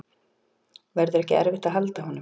Verður ekki erfitt að halda honum?